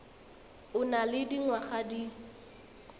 o nang le dingwaga di